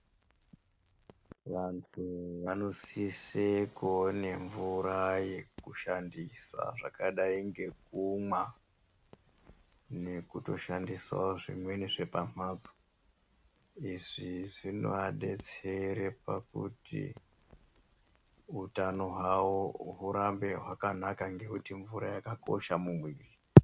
Vantu vanosise kuone mvura yekushandisa zvakadai ngekumwa nekutoshandisawo zvimweni zvepamhatso. Izvi zvinoadetsera pakuti utano hwawo hwavo hurambe hwakanaka nekuti mvura yakakosha mumwiri